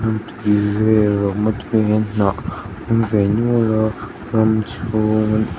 lui vela awm a tuiah hian hnah a awm ve nual a ram chhung--